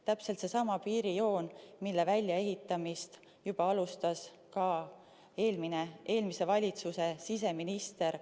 Räägime täpselt samast piirijoonest, mille väljaehitamist alustas juba eelmise valitsuse siseminister.